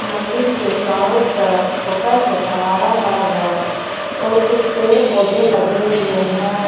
मंदिर के चारों तरफ छोटा छोटा हरा हरा घास और कुछ पेड़ पौधे लगे हुए हैं।